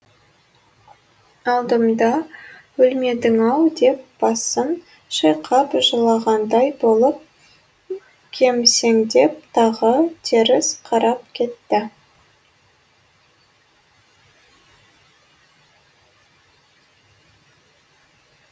алдымда өлмедің ау деп басын шайқап жылағандай болып кемсеңдеп тағы теріс қарап кетті